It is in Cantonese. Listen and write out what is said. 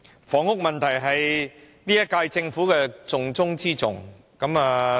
"房屋問題是本屆政府施政的重中之重"。